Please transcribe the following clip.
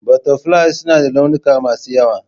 Butterflies suna da launuka masu yawa.